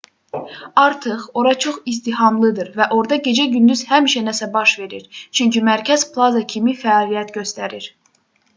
artıq ora çox izdihamlıdır və orda gecə-gündüz həmişə nəsə baş verir çünki mərkəz plaza kimi fəaliyyət göstərir